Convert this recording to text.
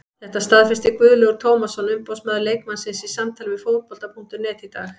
Þetta staðfesti Guðlaugur Tómasson umboðsmaður leikmannsins í samtali við Fótbolta.net í dag.